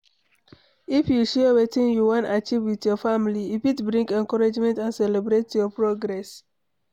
If you share wetin you wan achieve with your family, e fit bring encouragement and celebrate your progress